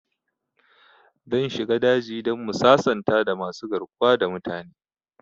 Zan shiga daji dan mu sasanta da masu garkuwa da mutane